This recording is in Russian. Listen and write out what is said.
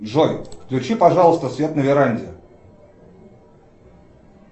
джой включи пожалуйста свет на веранде